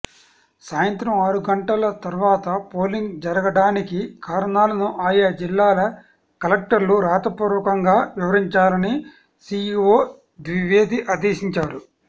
సాయంత్రం ఆరు గంటల తర్వాత పోలింగ్ జరగడానికి కారణాలను ఆయా జిల్లాల కలెక్టర్లు రాతపూర్వకంగా వివరించాలని సీఈవో ద్వివేది ఆదేశించారు